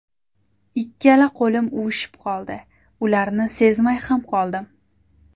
Ikkala qo‘lim uvushib qoldi, ularni sezmay ham qoldim.